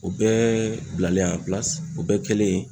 O bɛɛ bilalen o bɛɛ kɛlen.